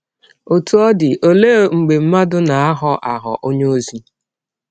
Ọtụ ọ dị, ọlee mgbe mmadụ na - aghọ aghọ ọnye ọzi?